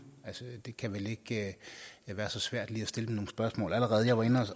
altså det kan vel ikke være så svært lige at stille dem nogle spørgsmål allerede jeg var inde